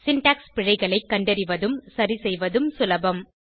syntax பிழைகளை கண்டறிவதும் சரிசெய்வதும் சுலபம்